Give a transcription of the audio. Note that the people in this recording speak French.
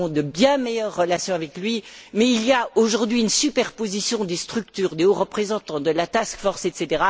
nous avons de bien meilleures relations avec lui, mais il y a, aujourd'hui, une superposition des structures du haut représentant, de la task force, etc.